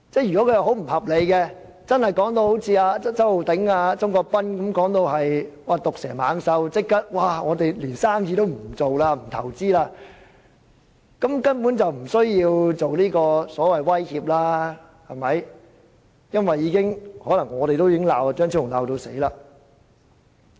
如果修正案不合理，是周浩鼎議員及鍾國斌議員口中的毒蛇猛獸，足以令商家不做生意、不作投資，局長根本不用出言威脅，因為我們自會大罵張超雄議員。